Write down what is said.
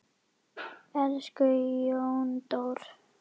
Elsku Jóndór!